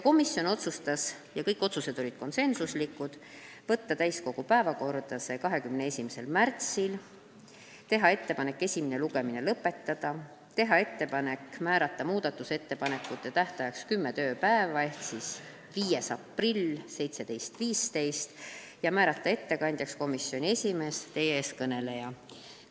Komisjon otsustas saata eelnõu täiskogu päevakorda 21. märtsiks, teha ettepaneku esimene lugemine lõpetada, teha ettepaneku määrata muudatusettepanekute esitamise tähtajaks kümme tööpäeva ehk 5. aprill kell 17.15 ning määrata ettekandjaks komisjoni esimees, teie ees kõneleja.